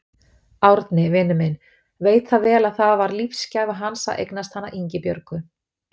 Árni, vinur minn, veit það vel að það var lífsgæfa hans að eignast hana Ingibjörgu.